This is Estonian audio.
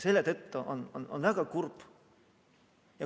Selle tõttu on mul väga kurb.